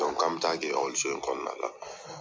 ko an bɛ taa kɛ ɔkɔliso in kɔnɔna la.